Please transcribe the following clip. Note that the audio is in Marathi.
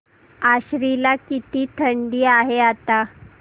आश्वी ला किती थंडी आहे आता